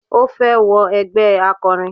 Ó fẹ́ wọ ẹgbẹ́ akọrin.